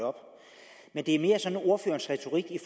at det er mere sådan ordførerens retorik i